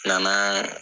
Nana